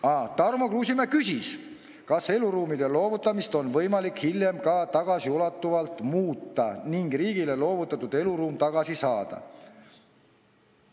Aa, Tarmo Kruusimäe küsis, kas eluruumide loovutamist on võimalik hiljem ka tagasiulatuvalt muuta ning riigile loovutatud eluruum tagasi saada.